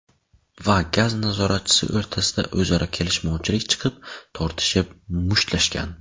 va gaz nazoratchisi o‘rtasida o‘zaro kelishmovchilik chiqib, tortishib, mushtlashgan.